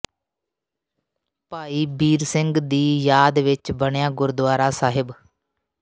ਭਾਈ ਬੀਰ ਸਿੰਘ ਦੀ ਯਾਦ ਵਿੱਚ ਬਣਿਆ ਗੁਰਦੁਆਰਾ ਸਾਹਿਬ